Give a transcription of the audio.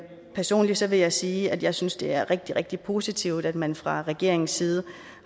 personligt vil jeg sige at jeg synes det er rigtig rigtig positivt at man fra regeringens side